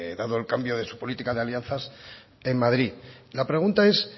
dado el cambio de su política de alianzas en madrid la pregunta es